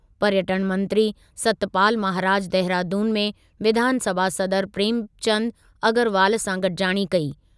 पर्यटन मंत्री सतपाल महाराज देहरादून में विधानसभा सदर प्रेमचंद अग्रवाल सां गॾिजाणी कई।